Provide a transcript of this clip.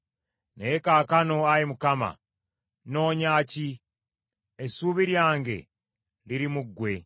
Naye kaakano, Ayi Mukama, nnoonya ki? Essuubi lyange liri mu ggwe.